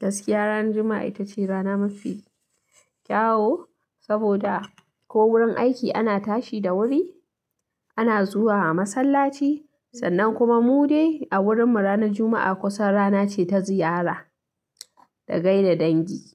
Gaskiya ranan Juma'a ita ce rana mafi kyawu, saboda ko wurin aiki ana tashi da wuri, ana zuwa masallaci sannan kuma mu dai a wurin mu ranar Juma'a kusan rana ce ta ziyara da gaida dangi.